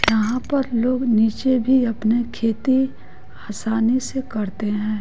यहाँ पर लोग नीचे भी अपनी खेती आसानी से करते हैं।